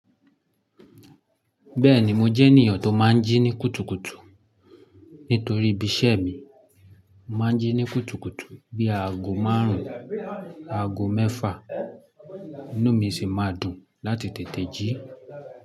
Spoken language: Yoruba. Bẹ́ẹ̀ni, mo jẹ́ ènìyàn tó máa ń jí ní kùtùkùtù. Nítorí ibi iṣẹ́ mi, mo máa ń jí ní kùtùkùtù bí aago máàrún, aago mẹ́fà, inú mi sì máa dùn láti tètè jí.